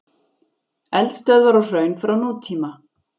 Eldstöðvar og hraun frá nútíma.